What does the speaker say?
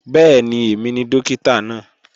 Bẹ́ẹ̀ni, èmi ni Dókítà náà